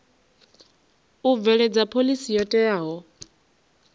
u bveledza phoḽisi yo teaho